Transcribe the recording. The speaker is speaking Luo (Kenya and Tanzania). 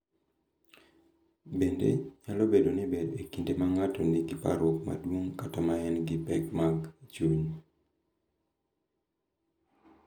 Bende, nyalo bedo gi ber e kinde ma ng’ato nigi parruok maduong’ kata ma en gi pek mag chuny.